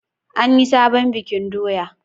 An yi sabon bikin doya?